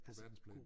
På verdensplan